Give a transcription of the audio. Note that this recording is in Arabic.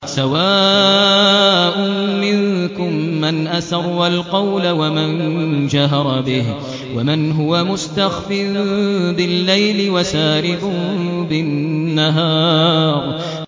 سَوَاءٌ مِّنكُم مَّنْ أَسَرَّ الْقَوْلَ وَمَن جَهَرَ بِهِ وَمَنْ هُوَ مُسْتَخْفٍ بِاللَّيْلِ وَسَارِبٌ بِالنَّهَارِ